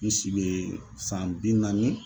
N si bɛ san bi naani